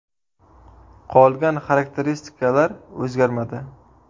Qolgan xarakteristikalar o‘zgarmadi.